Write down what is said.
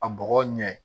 A bɔgɔ ɲɛ